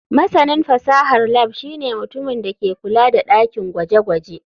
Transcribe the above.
Masanin fasahar lab shine mutumin da ke kula da dakin gwaje-gwaje.